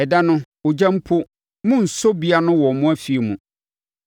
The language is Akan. Ɛda no, ogya mpo, monnsɔ bi ano wɔ mo afie mu.”